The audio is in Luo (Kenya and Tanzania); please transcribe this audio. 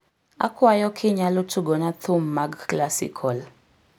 akwayo kinyalo tugona thum mag classical